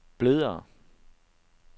blødere